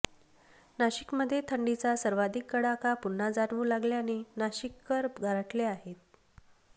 नाशिकमध्ये थंडीचा सर्वाधिक कडाका पुन्हा जाणवू लागल्याने नाशिककर गारठले आहे